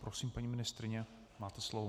Prosím, paní ministryně, máte slovo.